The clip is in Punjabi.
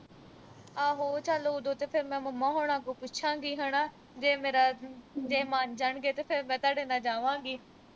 ਆਹੋ ਚਲ ਉਦੋਂ ਤਾਂ ਫਿਰ ਮੈਂ mamma ਹੋਰਾਂ ਤੋਂ ਪੁੱਛਾਂ ਗੀ ਹਨਾ। ਜੇ ਮੇਰਾ, ਜੇ ਮੰਨ ਜਾਣਗੇ ਤਾਂ ਫਿਰ ਮੈਂ ਤੁਹਾਡੇ ਨਾਲ ਜਾਵਾਂਗੀ।